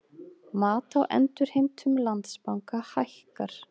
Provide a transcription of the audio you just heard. Mat á endurheimtum Landsbanka hækkar